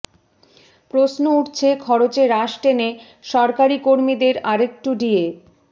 প্রশ্ন উঠছে খরচে রাশ টেনে সরকারি কর্মীদের আরেকটু ডিএ